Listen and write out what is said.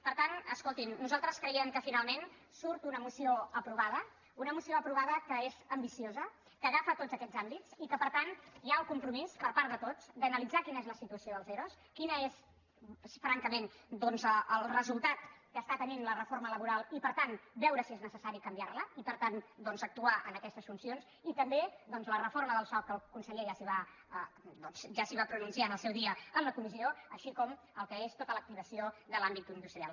per tant escoltin nosaltres creiem que finalment surt una moció aprovada una moció aprovada que és am·biciosa que agafa tots aquests àmbits i que per tant hi ha el compromís per part de tots d’analitzar quina és la situació dels ero quin és francament doncs el resultat que està tenint la reforma laboral i per tant veure si és necessari canviar·la i per tant actuar en aquestes funcions i també doncs la reforma del soc el conseller ja s’hi va pronunciar en el seu dia en la comissió així com el que és tota l’activació de l’àm·bit industrial